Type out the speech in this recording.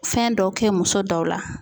Fɛn dɔ kɛ muso dɔw la.